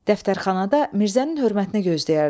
Dəftərxanada Mirzənin hörmətinə gözləyərdilər.